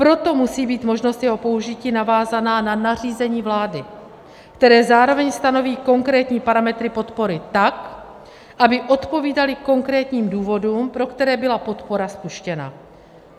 Proto musí být možnost jeho použití navázána na nařízení vlády, které zároveň stanoví konkrétní parametry podpory tak, aby odpovídaly konkrétním důvodům, pro které byla podpora spuštěna.